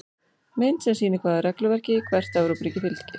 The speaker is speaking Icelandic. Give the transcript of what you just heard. Mynd sem sýnir hvaða regluverki hvert Evrópuríki fylgir.